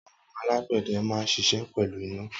Awọn àlágbẹdẹ mà n ṣiṣẹ pẹlú iná